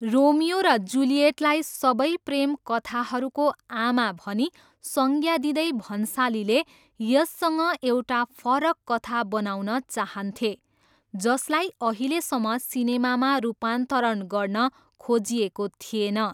Romeo र जुलिएटलाई 'सबै प्रेम कथाहरूको आमा' भनी संज्ञा दिँदै भन्सालीले यससँग एउटा फरक कथा बनाउन चाहन्थे, जसलाई अहिलेसम्म सिनेमामा रूपान्तरण गर्न खोजिएको थिएन।